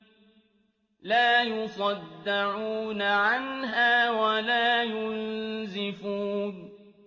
لَّا يُصَدَّعُونَ عَنْهَا وَلَا يُنزِفُونَ